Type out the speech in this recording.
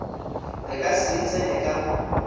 re ka se e tseneka